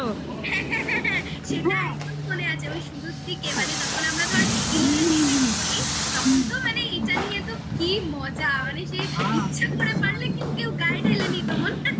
সেটা মনে আছে ওই শুরুর দিকে মানে যখন আমরা ধর eleven এ পড়ি